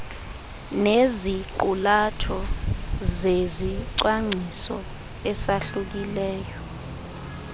neziqulatho zezicwangciso esahlukileyo